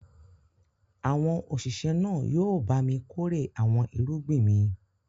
Àwọn òṣìṣẹ́ náà yóò bá mi kórè àwọn irúgbìn mi.